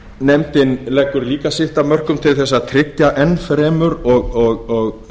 nefndin leggur líka sitt af mörkum til þess að tryggja enn fremur og